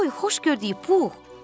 Oy, xoş gördük Pu!